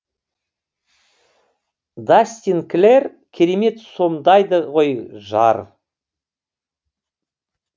дастин клэр керемет сомдайды ғой жар